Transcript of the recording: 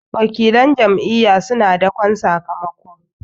wakilan Jam'iyya suna dakon sakamako